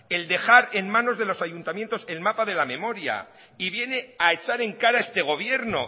el dejar en manos de los ayuntamientos el mapa de la memoria y viene a echar en cara a este gobierno